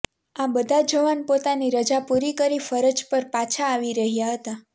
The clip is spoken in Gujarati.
આ બધા જવાન પોતાની રજા પૂરી કરી ફરજ પર પાછા આવી રહ્યા હતા